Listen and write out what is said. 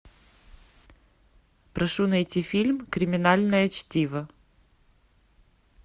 прошу найти фильм криминальное чтиво